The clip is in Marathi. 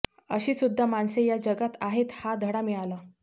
अशी सुद्धा माणसे या जगात आहेत हा धडा मिळाला